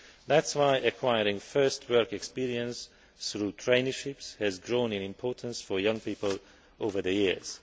This is why acquiring initial work experience through traineeships has grown in importance for young people over the years.